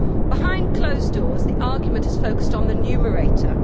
Behind closed doors the argument has focused on the numerator.